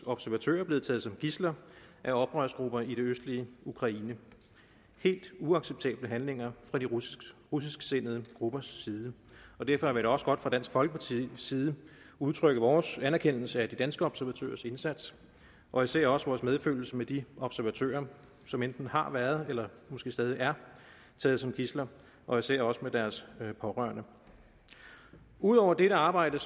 observatører blevet taget som gidsler af oprørsgrupper i det østlige ukraine det er helt uacceptable handlinger fra de russisksindede gruppers side og derfor vil også godt fra dansk folkepartis side udtrykke vores anerkendelse af de danske observatørers indsats og især også vores medfølelse med de observatører som enten har været eller måske stadig er taget som gidsler og især også med deres pårørende ud over dette arbejde